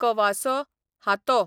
कवासो, हातो